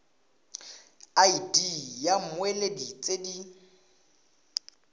id ya mmoelwa tse di